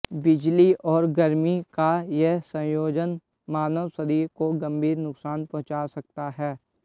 बिजली और गर्मी का यह संयोजन मानव शरीर को गंभीर नुकसान पहुंचा सकता है